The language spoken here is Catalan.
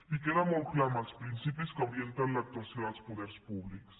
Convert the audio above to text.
i queda molt clar en els principis que orienten l’actuació dels poders públics